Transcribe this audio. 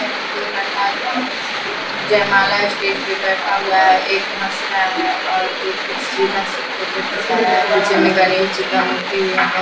यहाँ दो लड़का जयमाला स्टेज पे बैठा हुआ है एक हस रहा है और एक सीधा से फोटो खींचा रहा है पीछे में गणेश जी का मूर्ति भी है।